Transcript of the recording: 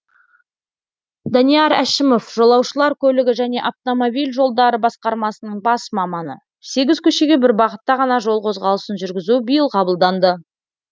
данияр әшімов жолаушылар көлігі және автомобиль жолдары басқармасының бас маманы сегіз көшеге бір бағытта ғана жол қозғалысын жүргізу биыл қабылданды